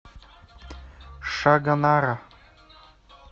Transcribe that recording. шагонара